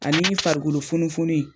Ani farikolo funufunun in